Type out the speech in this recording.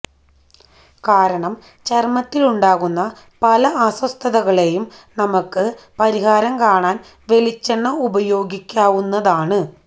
കാരണം ചര്മ്മത്തിലുണ്ടാവുന്ന പല അസ്വസ്ഥതകളേയും നമുക്ക് പരിഹാരം കാണാന് വെളിച്ചെണ്ണ ഉപയോഗിക്കാവുന്നതാണ്